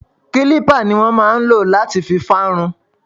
Kilipa ni wọn máa ń ló láti fi fa irun.